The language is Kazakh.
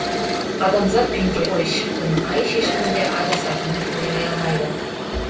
адамзат пенде ғой шіркін қай шешімінде адасатынын олжай алмайды